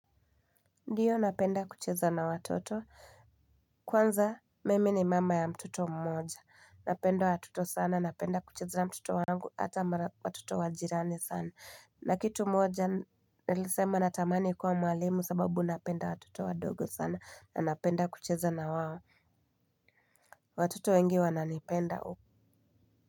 Ndiyo napenda kucheza na watoto kwanza mimi ni mama ya mtoto mmoja napenda watoto sana napenda kucheza na mtoto wangu hata watoto wa jirani sana na kitu moja nilisema natamani kuwa mwalimu sababu napenda watoto wadogo sana na napenda kucheza na wao. Watoto wengi wananipenda.